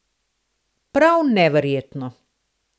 Prav neverjetno.